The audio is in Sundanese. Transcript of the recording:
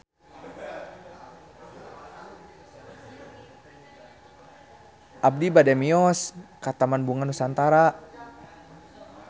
Abi bade mios ka Taman Bunga Nusantara